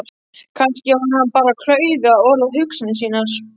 Kannski var hann bara klaufi að orða hugsanir sínar.